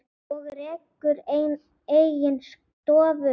og rekur eigin stofu.